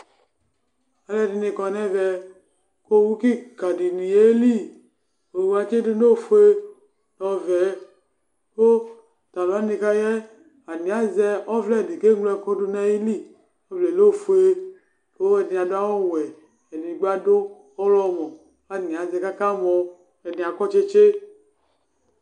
Alʋ ɛdini kɔ nʋ ɛvɛ owʋ kika dini yeli owʋ atsidʋ nʋ ofue ɔwɛ kʋ talʋ wani kʋ ayɛ atani azɛ ɔvlɛdi kʋ eŋlo ɛkʋ dʋnʋ ayili ɔvlɛ lɛ ofuɛ kʋ alʋɛdini adʋ awʋwɛ edigbi adʋ ɔwlɔmɔ kʋ atani azɛ kʋ aka mɔ ɛdini akɔ tsitsi